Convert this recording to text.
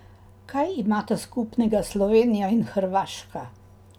Kaj imata skupnega Slovenija in Hrvaška?